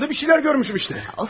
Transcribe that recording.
Röyamda bir şeylər görmüşəm işdə.